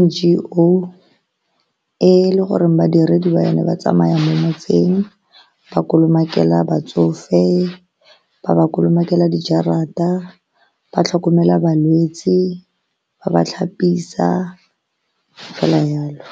N_G_O e le goreng badiredi ba yone ba tsamaya mo motseng ba kolomakela batsofe, ba ba kolomakela dijarata, ba tlhokomela balwetse, ba ba tlhapisa fela jalo.